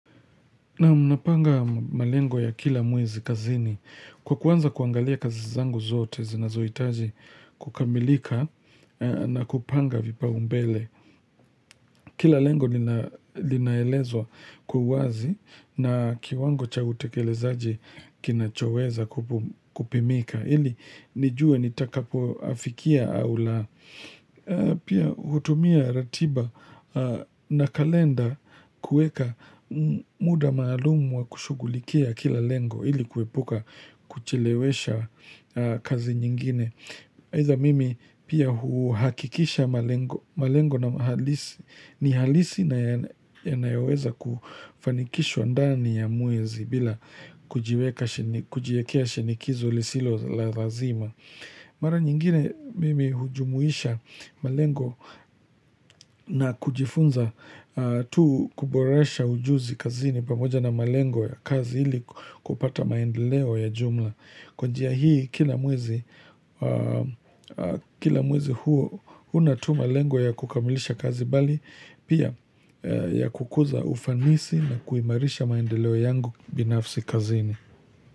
Naam napanga malengo ya kila mwezi kazini. Kwa kwanza kuangalia kazi zangu zote, zinazohitaji kukamilika na kupanga vipaumbele. Kila lengo linaelezwa kwa uwazi na kiwango cha utekelezaji kinachoweza kupimika. Ili nijue nitakapo afikia au la Pia hutumia ratiba na kalenda kueka muda maalumu wa kushughulikia kila lengo ili kuepuka kuchelewesha kazi nyingine either mimi pia huhakikisha malengo malengo na halisi ni halisi na yanayoweza kufanikishwa ndani ya mwezi bila kujiweka kujiwekea shinikizo lisilo la lazima. Mara nyingine mimi hujumuisha malengo na kujifunza tu kuboresha ujuzi kazini pamoja na malengo ya kazi ili kupata maendeleo ya jumla. Kwa njia hii kila mwezi kila mwezi huo unatuma lengo ya kukamilisha kazi mbali, pia ya kukuza ufanisi na kuimarisha maendeleo yangu binafsi kazini.